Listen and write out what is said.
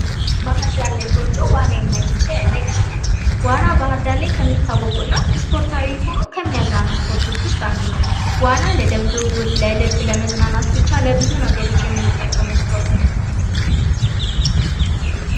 እግር ኳስ : በሁለት ቡድኖች መካከል የሚደረግ ሲሆን፣ ተጫዋቾች ኳስን በእግራቸው እየመቱ ወደ ተጋጣሚው ጎል በማስገባት የሚወዳደሩበት በዓለም ላይ በስፋት የሚታወቅ ስፖርት።